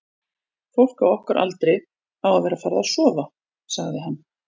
fólk á okkar aldri á að vera farið að sofa, sagði hann.